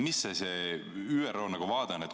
Mis see ÜRO vaade on?